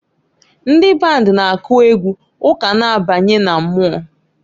Ndị band na-akụ egwu ụka na-abanye na mmụọ.